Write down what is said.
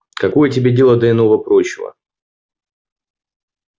какое тебе дело до иного-прочего